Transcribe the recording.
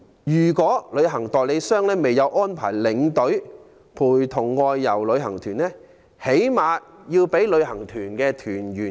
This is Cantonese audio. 如旅行代理商未有安排領隊陪同外遊旅行團，最低限度要通知團友。